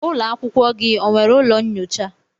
Ụlọ akwụkwọ gị o nwere ụlọ nnyocha?